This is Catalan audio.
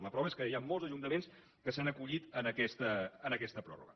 la prova és que hi han molts ajuntaments que s’han acollit a aquesta pròrroga